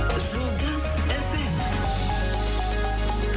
жұлдыз эф эм